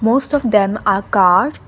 most of them are car.